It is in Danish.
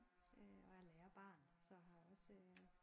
Øh og er lærerbarn så har også øh